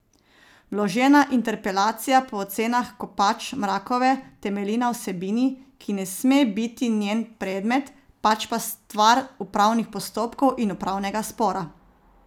Vložena interpelacija po ocenah Kopač Mrakove temelji na vsebini, ki ne sme biti njen predmet, pač pa stvar upravnih postopkov in upravnega spora.